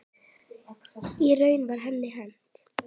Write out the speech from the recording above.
Í raun var henni hent.